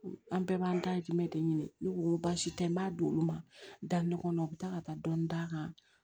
An bɛɛ b'an dahirimɛ de ɲini ne ko baasi tɛ n b'a d'olu ma daminɛ kɔnɔ u be taa ka taa dɔni d'a kan